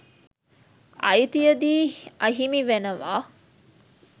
අ‍යි‍ති‍ය‍දී ‍අ‍හි‍මි ‍වෙ‍න‍වා